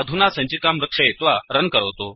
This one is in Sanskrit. अधुना सञ्चिकां रक्षयित्वा रन् करोतु